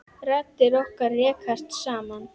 Raddir okkar rekast saman.